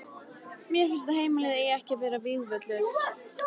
Mér finnst að heimilið eigi ekki að vera vígvöllur.